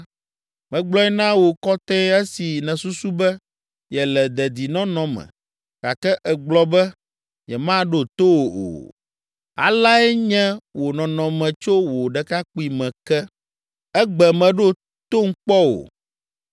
Megblɔe na wò kɔtɛe esi nèsusu be yele dedinɔnɔ me, gake ègblɔ be, ‘Nyemaɖo to wò o!’ Aleae nye wò nɔnɔme tso wò ɖekakpuime ke; ègbe, mèɖo tom kpɔ o.